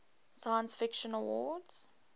science fiction awards